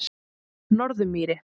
Norðurmýri